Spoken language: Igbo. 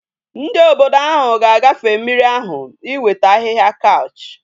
Ndi obodo ahu ga agafe mmiri ahu iweta ahihia couch